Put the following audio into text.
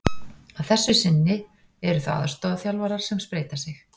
Að þessu sinni eru það aðstoðarþjálfarar sem spreyta sig.